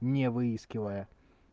не выискивая